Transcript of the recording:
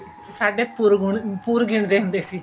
ਸਾਡੇ ਪੁਰ ਪੁਰ ਗਿਣਦੇ ਹੁੰਦੇ ਸੀ